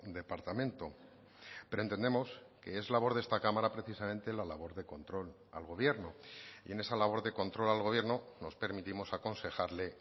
departamento pero entendemos que es labor de esta cámara precisamente la labor de control al gobierno y en esa labor de control al gobierno nos permitimos aconsejarle